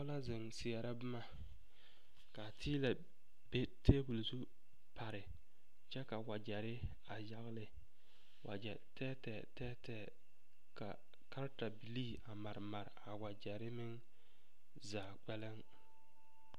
Noba la zeŋ seɛrɛ boma ka teelɛ be tabol zu pare kyɛ ka wagyɛre a yagle wagyɛ tɛɛtɛɛ tɛɛtɛɛ ka kartabilii a mare mare a wagyɛre meŋ zaa kpɛlɛŋ.